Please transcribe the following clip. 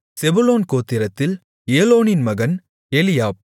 செபுலோன் கோத்திரத்தில் ஏலோனின் மகன் எலியாப்